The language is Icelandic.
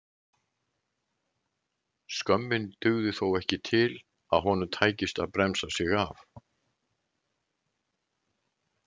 Skömmin dugði þó ekki til að honum tækist að bremsa sig af.